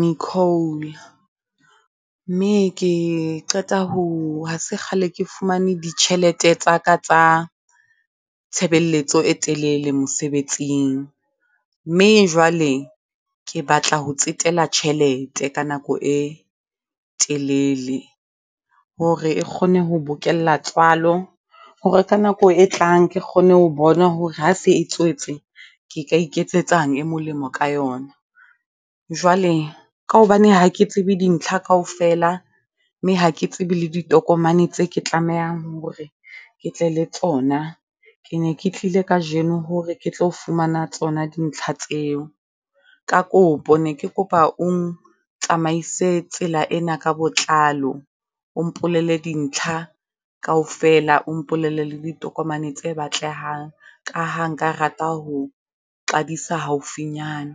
Nicole, mme ke qeta ho ha se kgale ke fumane ditjhelete tsa ka tsa tshebeletso e telele mosebetsing. Mme jwale ke batla ho tsetela tjhelete ka nako e telele hore e kgone ho bokella tswalo, hore ka nako e tlang ke kgone ho bona hore ha se e tswetse ka iketsetsang e molemo ka yona. Jwale ka hobane ha ke tsebe dintlha kaofela, mme ha ke tsebe le ditokomane tse ke tlamehang hore ke tle le tsona. Ke ne ke tlile kajeno hore ke tlo fumana tsona dintlha tseo. Ka kopo ne ke kopa o ntsamaise tsela ena ka botlalo, o mpolelle dintlha kaofela. O mpolelle le ditokomane tse batlehang ka ha nka rata ho qadisa haufinyane.